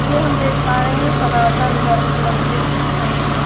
ये हम देख पा रहे है सनातन धन मंदिर है यहाँ--